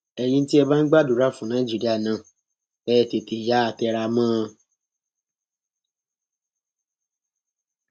ẹyin tí ẹ bá bá ń gbàdúrà fún nàìjíríà náà ẹ tètè yáa tẹra mọ ọn